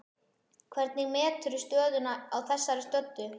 Hvernig meturðu stöðuna á þessari stöddu?